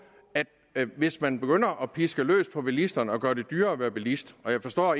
at hvis man begynder at piske løs på bilisterne og gøre det dyrere at være bilist og jeg forstår